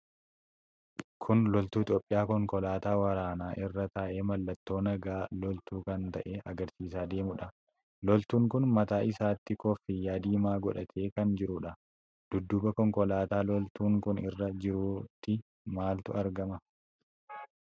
Kun loltuu Itoophiyaa konkolaataa waraanaa irra taa'ee mallattoo nagaa loltuu kan ta'e agarsiiisaa deemudha. Loltuun kun mataa isaatti kooffiyyaa diimaa godhatee kan jiruudha. Dudduuba konkolaataa loltuun kun irra jiruutti maaltu argama?